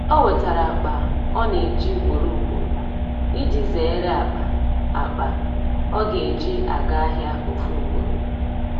o wetara akpa ọ na eji ugboro ugboro iji zere akpa akpa ọ ga eji aga ahia ofu ugboro.